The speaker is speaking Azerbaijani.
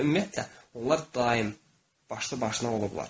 Və ümumiyyətlə, onlar daim başlı-başına olublar.